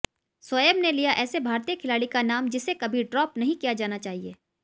शोएब ने लिया ऐसे भारतीय खिलाड़ी का नाम जिसे कभी ड्रॉप नहीं किया जाना चाहिए